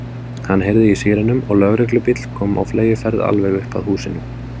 Hann heyrði í sírenum og lögreglubíll kom á fleygiferð alveg upp að húsinu.